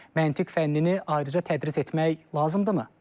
Məntiq fənnini ayrıca tədris etmək lazımdırmı?